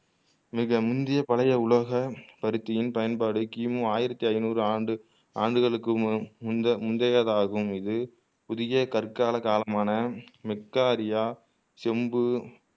மிக முந்திய பழைய உலக பருத்தியின் பயன்பாடு கிமு ஆயிரத்து ஐநூரு ஆண்டு ஆண்டுகளுக்கு மு முந்தை முந்தையதாகும் இது புதிய கற்கால காலமான மெக்கா ரியா செம்பு